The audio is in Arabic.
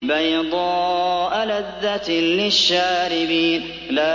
بَيْضَاءَ لَذَّةٍ لِّلشَّارِبِينَ